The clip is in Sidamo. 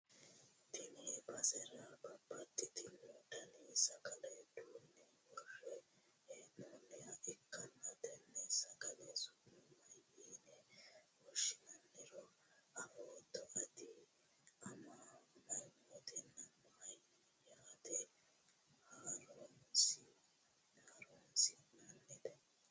tenne basera babbaxitino dani sagale duunne worre hee'noonniha ikkanna, tenne sagale su'ma mayiine woshhsinanniro afootto ati? mamootenna ma yanna horonsi'nannite?